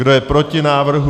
Kdo je proti návrhu?